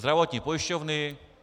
Zdravotní pojišťovny.